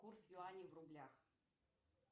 курс юаней в рублях